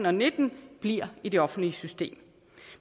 og nitten bliver i det offentlige system